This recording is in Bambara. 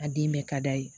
A den bɛɛ ka d'a ye